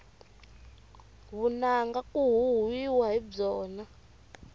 vunanga ku huhwiwa hi byona